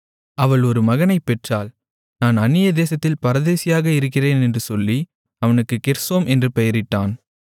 அவள் ஒரு மகனைப் பெற்றாள் நான் அந்நிய தேசத்தில் பரதேசியாக இருக்கிறேன் என்று சொல்லி அவனுக்கு கெர்சோம் என்று பெயரிட்டான்